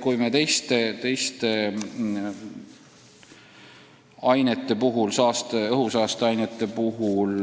Kui teiste õhusaasteainete puhul